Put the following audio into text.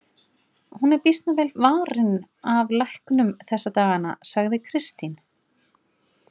Hún er býsna vel varin af læknum þessa dagana, sagði Kristín.